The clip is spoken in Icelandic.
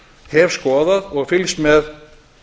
hef skoðað og fylgst með